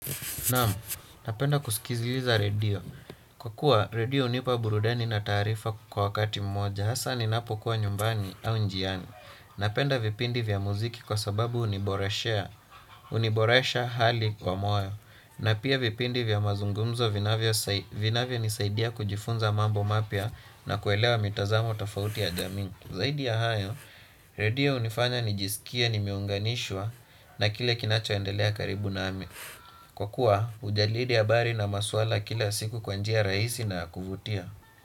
Naam, napenda kusikiziliza redio. Kwa kuwa, redio unipa burudani na taarifa kwa wakati mmoja, hasa ni napo kuwa nyumbani au njiani. Napenda vipindi vya muziki kwa sababu uniboresha hali kwa moyo. Na pia vipindi vya mazungumzo vinavyo nisaidia kujifunza mambo mapya na kuelewa mitazamo tafauti ya jamii. Zaidi ya hayo, redio unifanya nijisikie nimeunganishwa na kile kinacho endelea karibu nami. Kwa kuwa ujalidi habari na maswala ya kila siku kwanjia raisi na ya kuvutia.